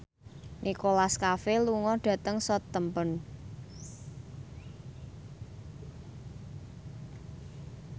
Nicholas Cafe lunga dhateng Southampton